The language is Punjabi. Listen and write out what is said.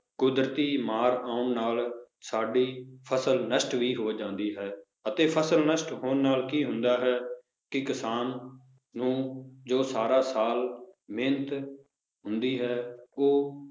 ਕੁਦਰਤੀ ਮਾਰ ਆਉਣ ਨਾਲ ਸਾਡੀ ਫਸਲ ਨਸ਼ਟ ਵੀ ਹੋ ਜਾਂਦੀ ਹੈ ਅਤੇ ਫਸਲ ਨਸ਼ਟ ਹੋਣ ਨਾਲ ਕੀ ਹੁੰਦਾ ਹੈ ਕਿ ਕਿਸਾਨ ਨੂੰ ਜੋ ਸਾਰਾ ਸਾਲ ਮਿਹਨਤ ਹੁੰਦੀ ਹੈ ਉਹ